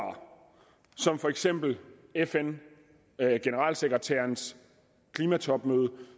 som for eksempel fn generalsekretærens klimatopmøde